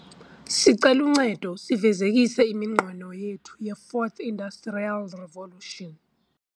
sicela uncedo sifezekise iminqweno yethu yeFourth Industrial Revolution .